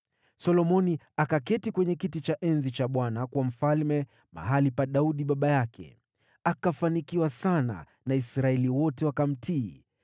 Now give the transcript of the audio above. Solomoni akaketi kwenye kiti cha enzi cha Bwana kuwa mfalme mahali pa Daudi baba yake. Akafanikiwa sana na Israeli wote wakamtii.